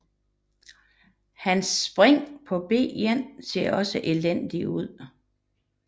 Hans springer på b1 ser også elendig ud